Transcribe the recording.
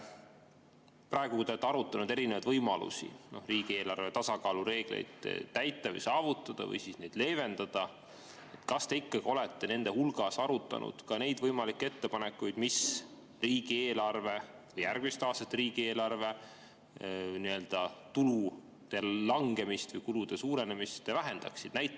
Praegu, kui te olete arutanud erinevaid võimalusi, kuidas riigieelarve tasakaalureegleid täita või saavutada või leevendada, kas te olete arutanud ka neid võimalikke ettepanekuid, mis järgmiste aastate riigieelarve nii-öelda tulude langemist või kulude suurenemist vähendaksid?